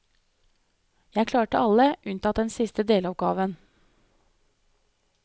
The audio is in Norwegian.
Jeg klarte alle, unntatt den siste deloppgaven.